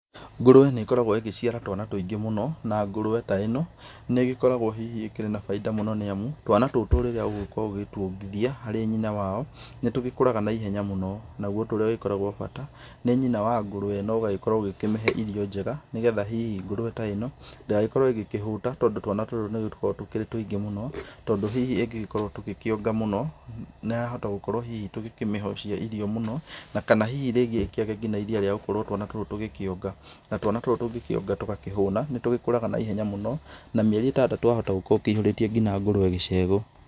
Ngũrũwe nĩ gĩkoragwo ĩgĩciara twana tũingĩ mũno. Na Ngũrũwe ta ĩno, nĩ gĩkoragwo hihi ĩkĩrĩ na baida nĩamu, twana tũtũ rĩrĩa ũgũkorwo ũgĩtwongithia harĩ nyĩna wayo, nĩtũgĩkũraga na ihenya mũno. Naguo ũndũ ũrĩa ũgĩkoragwo wa bata nĩ nyina wa ngũrũwe ĩno, ũgagĩkorwo ũkĩmĩhe irio njega nĩ getha hihi ngũrũwe ta ĩno, ndĩgagĩkorwo ĩgĩkĩhuta .Tondũ twana tũtũ tũgĩkoragwo twĩ tũingĩ mũno. Tondũ hihi tũngĩkorwo tũgĩkĩonga mũno ya hota gĩkoragwo hihi tũgĩkĩmĩhocia mũno ona kana hihi ĩkĩage iria rĩa twana kwaga gũkĩonga. Na twana tũtũ tũgĩkĩonga tũgakĩhũna na nĩ tũgĩkũraga na ihenya mũno. Na mĩeri ĩtandatũ wahota ũkĩyũrĩtie nginya ngũrũwe gĩcegwo.